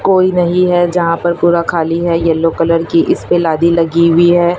कोई नहीं है जहां पर पूरा खाली है येलो कलर की इस पे लादी लगी हुई है।